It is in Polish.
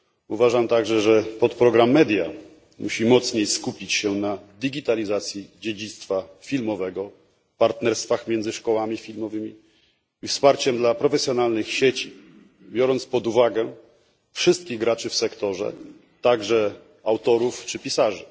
Uważam także, że podprogram MEDIA musi mocniej skupić się na digitalizacji dziedzictwa filmowego, na partnerstwach między szkołami filmowymi i na wsparciu dla profesjonalnych sieci, z uwzględnieniem wszystkich graczy w sektorze, także autorów czy pisarzy.